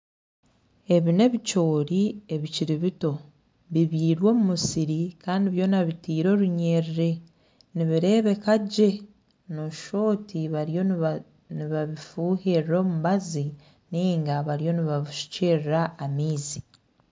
Ebi n'ebicoori ebikiri bito bibyirwe omu musiri kandi byoona bitaire orunyiriri nibireebeka gye noshusha oti bariyo nibabifuhirira omubazi niga bariyo nibabishukyerera amaizi.